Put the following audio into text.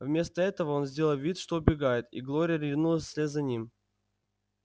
вместо этого он сделал вид что убегает и глория ринулась вслед за ним